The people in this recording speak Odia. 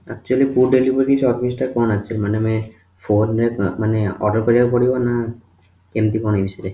actually food delivery service ଟା କଣ actually ମାନେ ଆମେ phone ରେ ମାନେ oder କରିବାକୁ ପଡିବ ନା କେମିତି କଣ ଏଇ ବିଷୟରେ